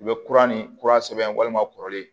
U bɛ kura ni kura sɛbɛn walima kɔrɔlen